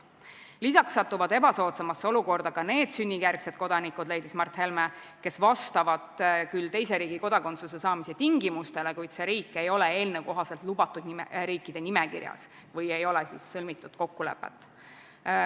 Mart Helme leidis, et lisaks satuvad ebasoodsamasse olukorda ka need sünnijärgsed kodanikud, kes vastavad küll teise riigi kodakondsuse saamise tingimustele, kuid see riik ei ole eelnõu kohaselt lubatud riikide nimekirjas või ei ole sõlmitud kokkulepet.